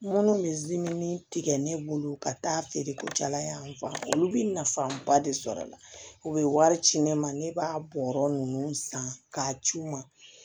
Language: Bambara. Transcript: Minnu bɛ tigɛ ne bolo ka taa feere ko jalafa olu bɛ nafaba de sɔrɔ a la u bɛ wari ci ne ma ne b'a bɔ yɔrɔ ninnu san k'a ci u ma